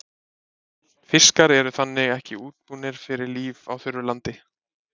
Fiskar eru þannig ekki útbúnir fyrir líf á þurru landi.